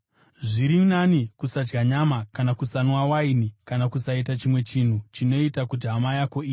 Zviri nani kusadya nyama kana kusanwa waini kana kusaita chimwe chinhu chinoita kuti hama yako iwe.